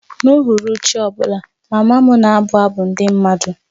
N'uhuruchi ọ bụla, mama m na-abụ abụ ndị mmadụ